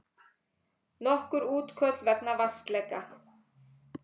Nokkur útköll vegna vatnsleka